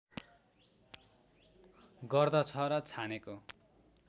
गर्दछ र छानेको